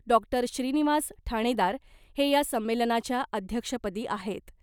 Doctor Shrinivas Thanedar हे या संमेलनाच्या अध्यक्षपदी आहेत .